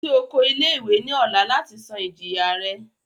Lọ si oko ile-iwe ni ọla lati san ijiya rẹ!